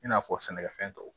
I n'a fɔ sɛnɛkɛ fɛn tɔw